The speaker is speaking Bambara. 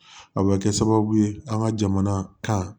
A bɛ kɛ sababu ye an ka jamana kan